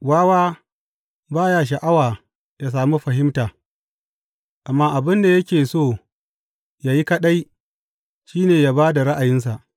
Wawa ba ya sha’awa ya sami fahimta amma abin da yake so ya yi kaɗai, shi ne ya ba da ra’ayinsa.